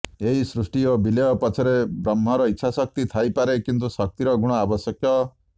ଏହି ସୃଷ୍ଟି ଓ ବିଲୟ ପଛରେ ବ୍ରହ୍ମର ଇଚ୍ଛାଶକ୍ତି ଥାଇପାରେ କିନ୍ତୁ ଶକ୍ତିର ଗୁଣ ଆବଶ୍ୟକ